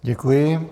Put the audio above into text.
Děkuji.